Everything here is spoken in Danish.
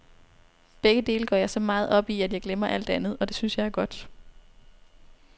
Begge dele går jeg så meget op i, at jeg glemmer alt andet, og det synes jeg er godt.